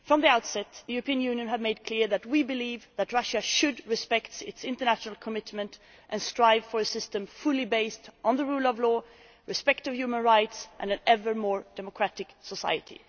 From the outset the European Union has made clear that we believe that Russia should respect its international commitments and strive for a system fully based on the rule of law, respect for human rights and an ever more democratic society.